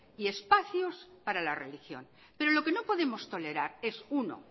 y espacios para la religión pero lo que no podemos tolerar es uno